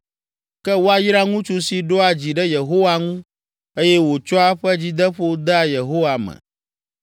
“Ke woayra ŋutsu si ɖoa dzi ɖe Yehowa ŋu eye wòtsɔa eƒe dzideƒo dea Yehowa me.